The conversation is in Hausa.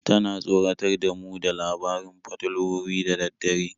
Tana tsoratar da mu da labarin fatalwoyi da dare.